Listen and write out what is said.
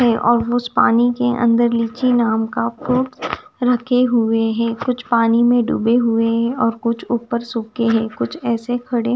है और उस पानी के अंदर लीची नाम का फ्रूट्स रखे हुए हैं कुछ पानी में डूबे हुए हैं और कुछ ऊपर सूखे हैं कुछ ऐसे खड़े--